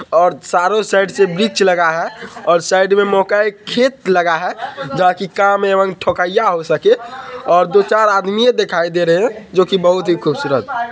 और सारो साईट से बीच लगा है और साइड में मोका ए खेत लगा है जहाँ की काम एवं ठोकइया हो सके और दो-चार आदमी ये दिखाई दे रहे जो की बहुत ही खूबसूरत